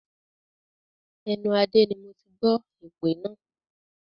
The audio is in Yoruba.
Ẹnu Adé ni moti gbọ́ èpè náà